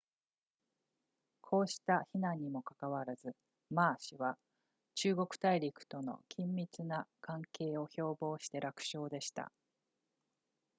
こうした非難にもかかわらず馬氏は中国大陸との緊密な関係を標榜して楽勝でした